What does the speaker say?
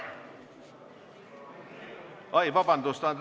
Oi, vabandust!